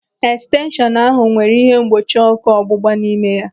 Estenshọnu ahụ nwere ihe mgbochi ọ́kụ́ ọgbụgba n'ime ya.